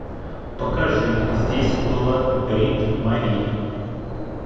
покажи здесь была бритт мари